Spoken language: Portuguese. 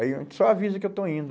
Aí a gente só avisa que eu estou indo.